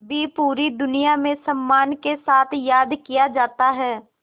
भी पूरी दुनिया में सम्मान के साथ याद किया जाता है